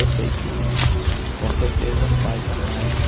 Eu sei que com certeza um pai jamais